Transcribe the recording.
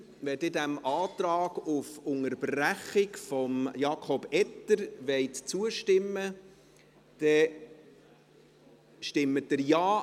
Wenn Sie dem Antrag auf Unterbrechung von Jakob Etter zustimmen wollen, stimmen Sie Ja.